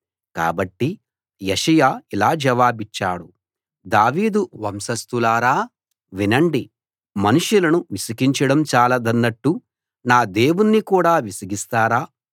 కాబట్టి యెషయా ఇలా జవాబిచ్చాడు దావీదు వంశస్థులారా వినండి మనుషులను విసికించడం చాలదన్నట్టు నా దేవుణ్ణి కూడా విసిగిస్తారా